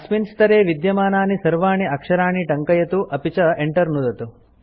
अस्मिन् स्तरे विद्यमानानि सर्वाणि अक्षराणि टङ्कयतु अपि च Enter नुदतु